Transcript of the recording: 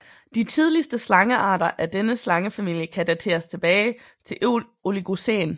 De tidligste slangearter af denne slangefamilie kan dateres tilbage til oligocæn